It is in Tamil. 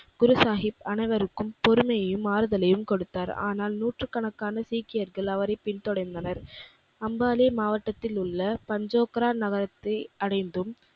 குருசாகிப் அனைவருக்கும் பொறுமையையும், ஆறுதலையும் கொடுத்தார். ஆனால் நூற்றுக்கணக்கான சீக்கியர்கள் அவரை பின் தொடர்ந்தனர். அம்பானே மாவட்டத்திலுள்ள பஞ்சோக்ரா நகரத்தை அடைந்தும்